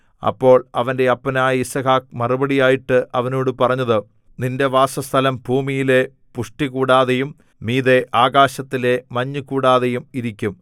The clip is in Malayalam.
അപ്പോൾ അവന്റെ അപ്പനായ യിസ്ഹാക്ക് മറുപടിയായിട്ട് അവനോട് പറഞ്ഞത് നിന്റെ വാസസ്ഥലം ഭൂമിയിലെ പുഷ്ടികൂടാതെയും മീതെ ആകാശത്തിലെ മഞ്ഞുകൂടാതെയും ഇരിക്കും